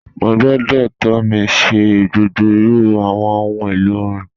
Mọ̀ gbọ́ Tomì ṣẹ̀ gbogbo irù awọn ọ̀hun èlo orin.